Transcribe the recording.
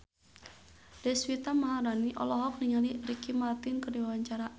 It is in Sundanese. Deswita Maharani olohok ningali Ricky Martin keur diwawancara